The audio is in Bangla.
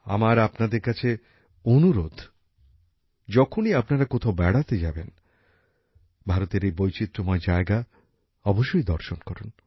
আমার আপনাদের কাছে অনুরোধ যখনই আপনারা কোথাও বেড়াতে যাবেন ভারতের এই বৈচিত্র্যময় জায়গা অবশ্যই দর্শন করুন